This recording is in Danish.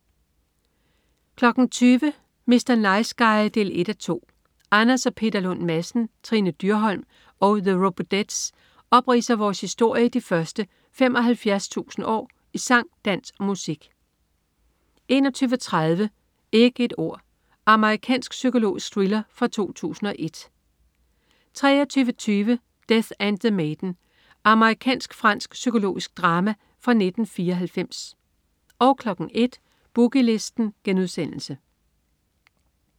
20.00 Mr. Nice Guy 1:2. Anders og Peter Lund Madsen, Trine Dyrholm og The Robodettes opridser vores historie de første 75.000 år i sang, dans og musik 21.30 Ikke et ord. Amerikansk psykologisk thriller fra 2001 23.20 Death and the Maiden. Amerikansk-fransk psykologisk drama fra 1994 01.00 Boogie Listen*